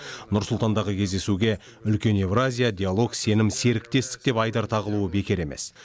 нұр сұлтандағы кездесуге үлкен еуразия диалог сенім серіктестік деп айдар тағылуы бекер емес